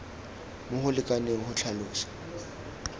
mo go lekaneng go tlhalosa